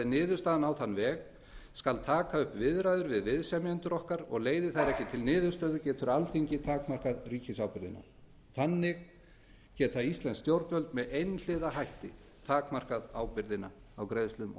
niðurstaðan á þann veg skal taka upp viðræður við viðsemjendur okkar leiði þær ekki til niðurstöðu getur alþingi takmarkað ríkisábyrgðina þannig geta íslensk stjórnvöld einhliða takmarkað ábyrgðina á greiðslum og